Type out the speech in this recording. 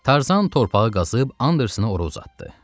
Tarzan torpağı qazıb Andersenə ora uzatdı.